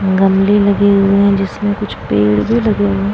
गमले लगे हुए है जिसमे कुछ पेड़ भी लगे हुए --